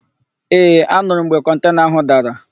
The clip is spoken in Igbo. Ee, anurụ m mgbe kọntena ahụ dara.